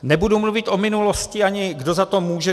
Nebudu mluvit o minulosti, ani kdo za to může.